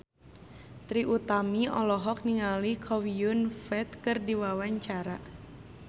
Trie Utami olohok ningali Chow Yun Fat keur diwawancara